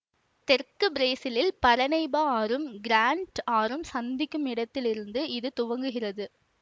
தெற்கு பிரேசிலில் பரனைபா ஆறும் கிராண்ட் ஆறும் சந்திக்கும் இடத்திலிருந்து இது துவங்குகிறது